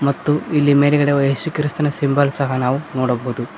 ಮತ್ತು ಇಲ್ಲಿ ಮೇಲ್ಗಡೆ ಎಸು ಕ್ರಿಸ್ತನ ಸಿಂಬಲ್ ಸಹ ನಾವು ನೋಡಬಹುದು.